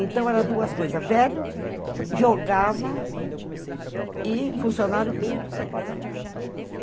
Então, era duas coisas, velho, jogava e funcionário público ainda.